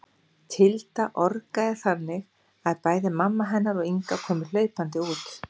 Tilda orgaði þannig að bæði mamma hennar og Inga komu hlaupandi út.